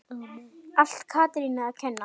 Allt Katrínu að kenna?